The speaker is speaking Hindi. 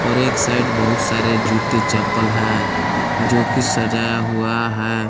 और एक साइड बहुत सारे जूते चप्पल हैं जो कि सजाया हुआ है।